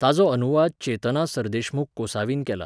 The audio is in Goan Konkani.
ताचो अनुवाद चेतना सरदेशमूख कोसावीन केला.